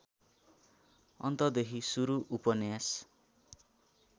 अन्तदेखि सुरु उपन्यास